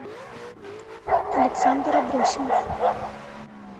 александр абросимов